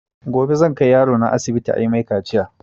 Gobe zan kai yaro na asibiti ayi mai kaciya